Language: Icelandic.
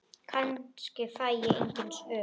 Kannski fæ ég engin svör.